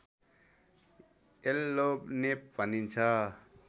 येल्लोनेप भनिन्छ